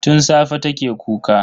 Tun safe take kuka.